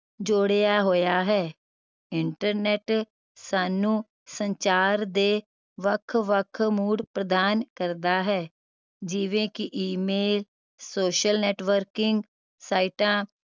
ਜੋੜਿਆ ਹੋਇਆ ਹੈ internet ਸਾਨੂੰ ਸੰਚਾਰ ਦੇ ਵੱਖ ਵੱਖ ਮੂਡ ਪ੍ਰਦਾਨ ਕਰਦਾ ਹੈ ਜਿਵੇਂ ਕਿ email social networking ਸਾਈਟਾਂ